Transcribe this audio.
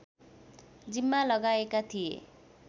जिम्मा लगाएका थिए